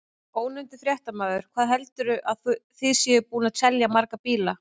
Ónefndur fréttamaður: Hvað heldurðu að þið séuð búin að selja marga bíla?